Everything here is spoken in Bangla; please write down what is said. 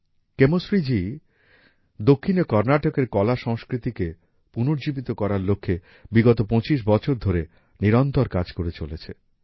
কেমশ্রী জি দক্ষিণে কর্নাটকের কলাসংস্কৃতিকে পুণর্জীবিত করার লক্ষ্যে বিগত ২৫ বছর ধরে নিরন্তর কাজ করে চলেছেন